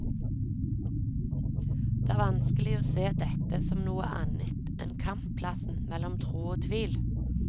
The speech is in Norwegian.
Det er vanskelig å se dette som noe annet enn kampplassen mellom tro og tvil.